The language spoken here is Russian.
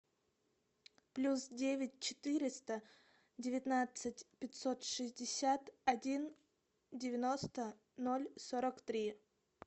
плюс девять четыреста девятнадцать пятьсот шестьдесят один девяносто ноль сорок три